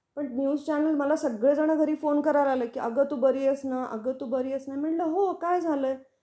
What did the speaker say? पण news channel मला सगळे जण घरी फोन करायला लागले, कि अग तू बरी आहेस ना, अगतू बरी आहेस ना? मी म्हंटल हो काय झाल आहे?